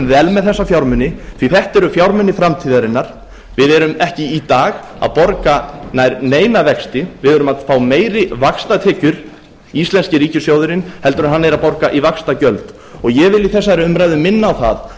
með þessa fjármuni því þetta eru fjármunir framtíðarinnar við erum ekki í dag að borga nær neina vexti við erum að fá meiri vaxtatekjur íslenski ríkissjóðurinn heldur en hann er að borga í vaxtagjöld ég vil í þessari umræðu minna á að